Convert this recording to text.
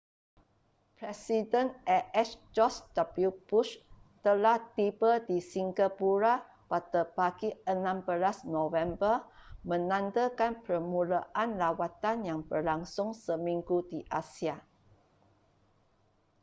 presiden as george w bush telah tiba di singapura pada pagi 16 november menandakan permulaan lawatan yang berlangsung seminggu di asia